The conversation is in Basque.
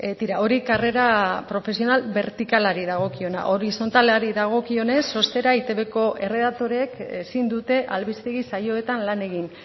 tira hori karrera profesional bertikalari dagokiona horizontalari dagokionez ostera eitbko erredaktoreek ezin dute albistegi saioetan lan egin